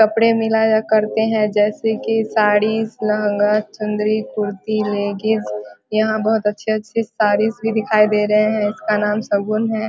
कपड़े मिलाया करते है जैसे कि साड़ी लहंगा चुंदरी कुर्ती लेगिंस यहाँ बहुत अच्छे-अच्छे साड़ी भी दिखाई दे रहे हैं जिसका नाम शगुन है ।